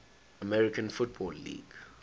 american football league